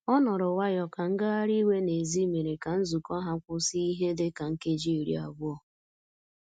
Ọ nọrọ nwayọ ka ngagharị iwe n'èzí mere ka nzukọ ha kwụsị ihe dị ka nkeji iri abụọ